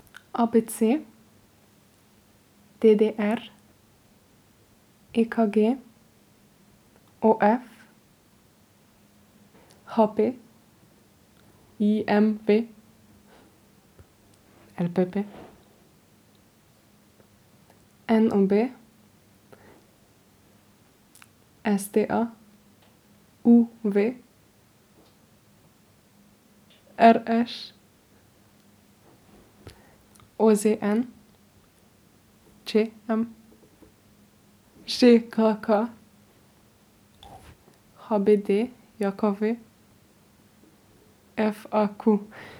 A B C; D D R; E K G; O F; H P; I M V; L P P; N O B; S T A; U V; R Š; O Z N; Č M; Ž K K; H B D J K V; F A Q.